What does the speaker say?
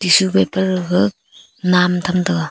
tissue paper gaga nam tam taga.